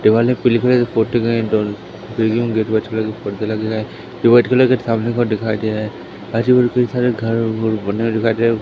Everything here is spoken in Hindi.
ये वाले पोटे गए है पर्दे लगे गए है ये वाइट कलर के सामने के ओर दिखाई दे रहे हैं घर बने हुए दिखाई दे रहे हैं।